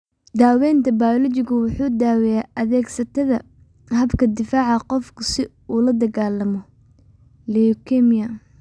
Daaweynta bayoolojigu waa daaweyn adeegsata habka difaaca qofka si uu ula dagaallamo leukemia.